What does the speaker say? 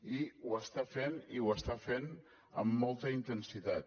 i ho està fent i ho està fent amb molta intensitat